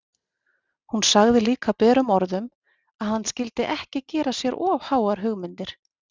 Hún sagði líka berum orðum að hann skyldi ekki gera sér of háar hugmyndir!